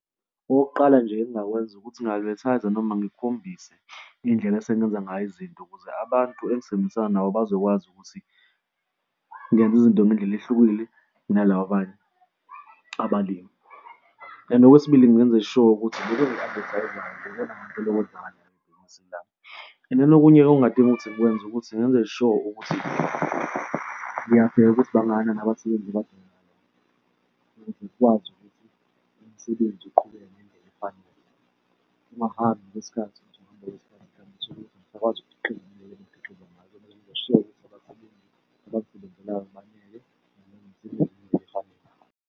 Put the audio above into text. Okokuqala nje engingakwenza ukuthi nginga-advertise-a noma ngikhombise indlela esengenza ngayo izinto ukuze abantu engisebenzisana nabo bazokwazi ukuthi ngenze izinto ngendlela ehlukile kunalaba abanye abalimi. And okwesibili ngingenza sure ukuthi loku engiku-advertise-ayo ikona ngempela . And then-ke okungadinga ukuthi ngikwenze ukuthi ngenze sure ukuthi ngiyabheka ukuthi bahlangane abasebenzi abadingakalayo ukuze kukwazi ukuthi umsebenzi uqhubeke ngendlela efanele kungahambi ngesikhathi ukuthi ukuhamba kwesikhathi kanti uthole ukuthi angisakwazi ukukhiqiza ngendleleni okumele ngiqoze ngayo. Kumele ngenze sure ukuthi abasebenzi abazisebenzelayo banele ngibanikeze umsebenzi ngendlela efanele.